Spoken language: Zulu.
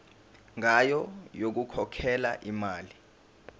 ngayo yokukhokhela imali